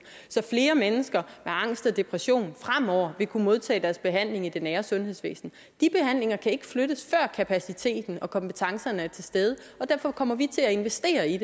så flere mennesker med angst og depression fremover vil kunne modtage deres behandling i det nære sundhedsvæsen de behandlinger kan ikke flyttes før kapaciteten og kompetencerne er til stede og derfor kommer vi til at investere i